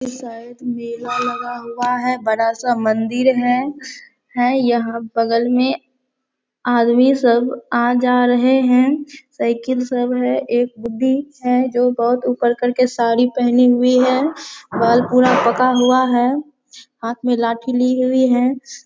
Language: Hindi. ये शायद मेला लगा हुआ है। बड़ा सा मंदिर है। है यहाँ बगल में आदमी सब आ जा रहें हैं। साइकिल सब हैं एक बुड्ढी है जो बहुत ऊपर करके साड़ी पहनी हुई है। बाल पूरा पका हुआ है। हाथ मे लाठी ली हुई है।